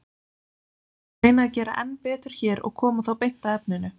Við skulum þó reyna að gera enn betur hér og koma þá beint að efninu.